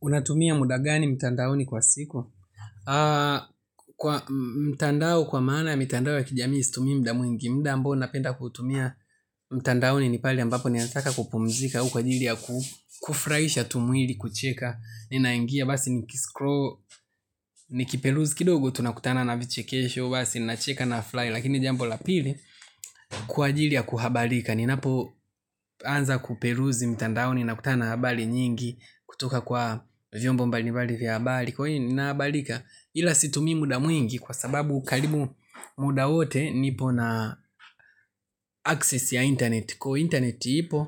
Unatumia mudagani mtandaoni kwa siku? Kwa mtandao kwa maana mtandao ya kijamii situmii muda mwingi muda ambao napenda kuutumia mtandaoni ni pale ambapo ninataka kupumzika au kwa ajili ya kufurahisha tu mwili kucheka ninaingia basi ni kiperuzi kidogo tunakutana na vichekesho basi ni nacheka nafurahi lakini jambo lapili kwa ajili ya kuhabalika. Ni napo anza kuperuzi mtandaoni nakutana na habari nyingi kutoka kwa vyombo mbalimbali vya habari kwa hiyo ninahabarika ila situmii muda mwingi kwa sababu karibu muda wote nipo na access ya internet kwa hiyo internet ipo,